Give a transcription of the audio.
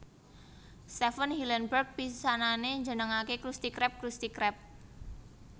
Stephen Hillenburg pisanane njenengake Krusty Krab Crusty Crab